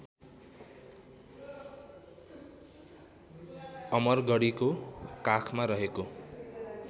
अमरगढीको काखमा रहेको